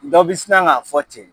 Dɔ bi sina ka fɔ ten